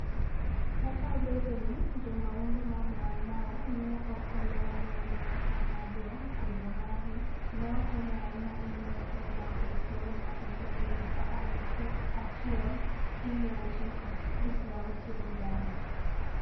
Kata obedo ni jo mahundu mag Maumau ne ok oloyo lweny e okang' maduong', kwedo margi ne okonyo ahinya e miyo Kenya obed thuolo mapiyo e higa 1963.